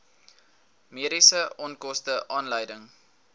mediese onkoste aanleiding